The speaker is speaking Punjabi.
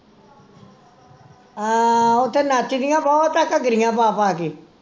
ਆਹ ਓਹ ਤੇ ਨੱਚਦੀਆਂ ਬਹੁਤ ਆ ਘੱਗਰੀਆ ਪਾ ਪਾ ਕੇ